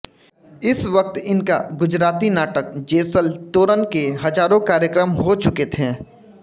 इस वक्त इनका गुजराती नाटक जेसल तोरण के हजारों कार्यक्रम हो चुके थे